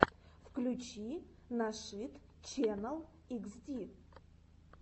включи нашид ченнал хд